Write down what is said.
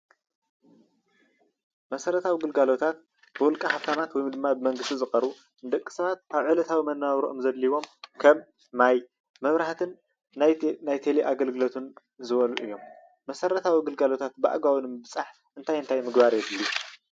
መሰረታዊ ግልግሎታት ብውልቀ ሃፍታማት ወይ ከዓ ብመንግስቲ ዝቀርቡ ንደቂ ሰባት ካብ ዕለታዊ መነባብሮኦም ዘድልይዎም ከም ማይ፣ መብራህትን ቴሌ ኣገልግሎትን ዝበሉ እዩም፡፡ መሰረተዊ ግልጋሎታት ብኣግባቡ ንምብፃሕ እንታይ እንታይ ምግባር የድልዩ ?